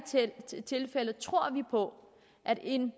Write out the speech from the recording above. tilfælde tror vi på at en